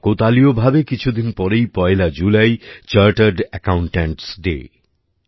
কাকতালীয়ভাবে কিছুদিন পরেই পয়লা জুলাই চার্টার্ড অ্যাকাউন্টেন্টস Day